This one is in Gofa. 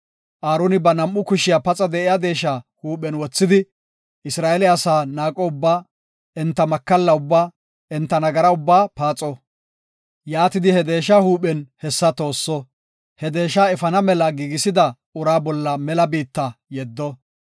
Aaroni ba nam7u kushiya paxa de7iya deesha huuphen wothidi, Isra7eele asaa naaqo ubbaa, enta makalla ubbaa, enta nagara ubbaa paaxo. Yaatidi he deesha huuphen hessa toosso; he deesha efana mela giigisida uraa bolla mela biitta yeddo.